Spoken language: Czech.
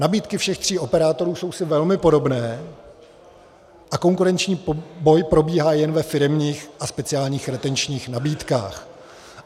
Nabídky všech tří operátorů jsou si velmi podobné a konkurenční boj probíhá jen ve firemních a speciálních retenčních nabídkách.